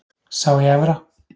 Sá í Efra.